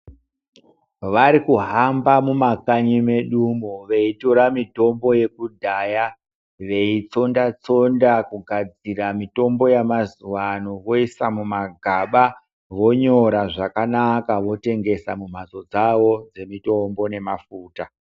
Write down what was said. Vari kuhamba mumakanyi mwedumwo veitora mitombo yekudhaya veitsondatsonda kugadzira mitombo yamazuano voisa mumagaba vonyora zvakanaka votengesa mumhatso dzavo dzemutombo nemafuta.